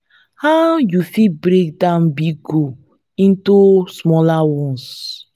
how you fit break down big goals into smaller ones?